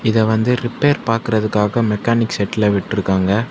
இத வந்து ரிப்பேர் பார்க்கிறதுக்காக மெக்கானிக் செட்ல விட்ருக்காங்க.